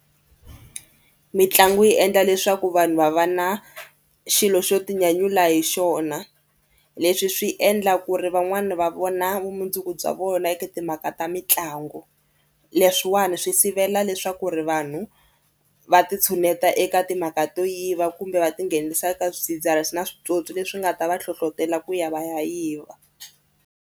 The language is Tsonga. Mitlangu yi endla leswaku vanhu va va na xilo xo tinyanyula hi xona. Leswi swi endla ku ri van'wani va vona vumundzuku bya vona eka timhaka ta mitlangu. Leswiwani swi sivela leswaku ri vanhu va titshuneta eka timhaka to yiva kumbe va tinghenisa ka swidzidziharisi na switswotswi leswi nga ta va hlohlotela ku ya va ya yiva.